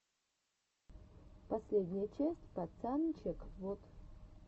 последняя часть пацанчег вот